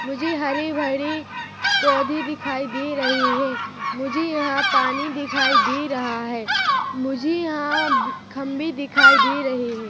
मुझे हरे-भरे पौधे दिखाई दे रहे है मुझे यहाँ पानी दिखाई दे रहा है मुझे यहाँ खम्भे दिखाई दे रहे है।